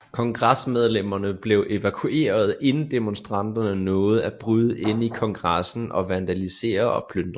Kongresmedlemmerne blev evakueret inden demonstranterne nåede at bryde ind i Kongressen og vandalisere og plyndre